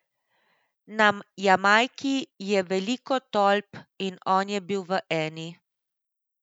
Na Jamajki je veliko tolp in on je bil v eni.